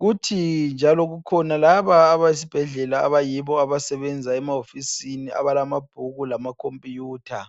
kuthi njalo kukhona laba abesibhedlela abayibo abasebenza emawofisini abalamabhuku lamakhompiyutha.